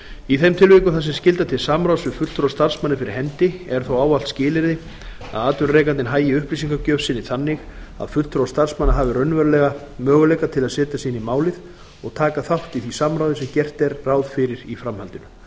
í þeim tilvikum þar sem skylda til samráðs við fulltrúa starfsmanna er fyrir hendi er þó ávallt skilyrði að atvinnurekandinn hagi upplýsingagjöf sinni þannig að fulltrúar starfsmanna hafi raunverulega möguleika til að setja sig inn í málið og taka þátt í því samráði sem gert er ráð fyrir í framhaldinu